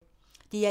DR1